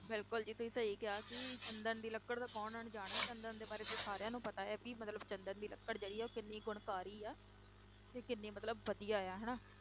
ਬਿਲਕੁਲ ਜੀ ਤੁਸੀਂ ਸਹੀ ਕਿਹਾ ਕਿ ਚੰਦਨ ਦੀ ਲੱਕੜ ਤੋਂ ਕੌਣ ਅਣਜਾਣ ਹੈ ਚੰਦਨ ਦੇ ਬਾਰੇ ਤਾਂ ਸਾਰਿਆਂ ਨੂੰ ਪਤਾ ਹੈ ਵੀ ਮਤਲਬ ਵੀ ਚੰਦਨ ਦੀ ਲੱਕੜ ਜਿਹੜੀ ਹੈ ਉਹ ਕਿੰਨੀ ਗੁਣਕਾਰੀ ਹੈ, ਤੇ ਕਿੰਨੀ ਮਤਲਬ ਵਧੀਆ ਆ ਹਨਾ।